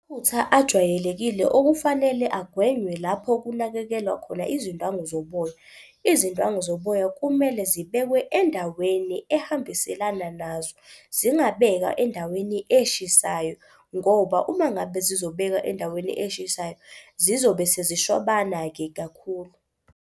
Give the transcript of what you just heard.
Amaphutha ajwayelekile okufanele agwenywe lapho kunakekelwa khona izindwangu zoboya. Izindwangu zoboya kumele zibekwe endaweni ehambiselana nazo, zingabekwa endaweni eshisayo ngoba uma ngabe zizobekwa endaweni eshisayo zizobe sezishwabana-ke kakhulu.